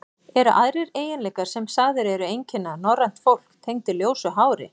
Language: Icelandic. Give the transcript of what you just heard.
Eru aðrir eiginleikar, sem sagðir eru einkenna norrænt fólk, tengdir ljósu hári?